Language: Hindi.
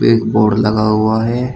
एक बोर्ड लगा हुआ है।